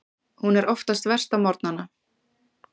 Hún er oftast verst á morgnana.